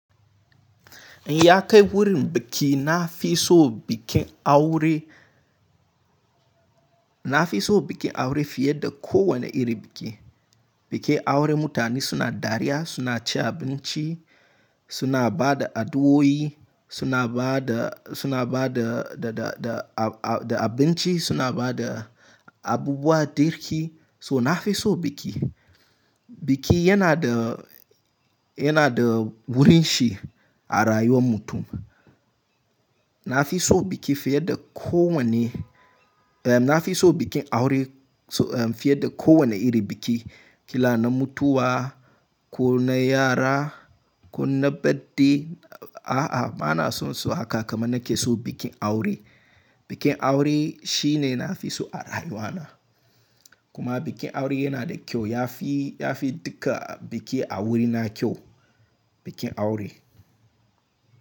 In ya kai wurin biki na fi so bikin aure, na fi so bikin aure fiye da kowane iri biki. Bikin aure mutane suna dariya, suna ci abinci, suna ba da addu'o'i, suna ba da, suna ba da, da, da, da abinci, suna ba da abubuwa, girki. So na fi so biki. Biki yana da, yana da wurin shi a rayuwar mutum. Na fi so biki fiye da kowane, eh, na fi so bikin aure fiye da kowane iri biki. Kila na mutuwa, ko na yara, ko na birthday. A'a, ba na so su haka kamar na ke so bikin aure. Bikin aure shi ne na fi so a rayuwa na. Kuma bikin aure yana da kyau. Ya fi, ya fi duka biki a wurina kyau, bikin aure.